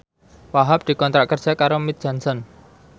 Wahhab dikontrak kerja karo Mead Johnson